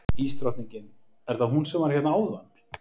Ísdrottningin, er það hún sem var hérna áðan?